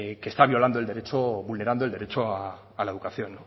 que está violando el derecho vulnerando el derecho a la educación